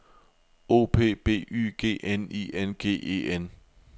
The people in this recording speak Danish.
O P B Y G N I N G E N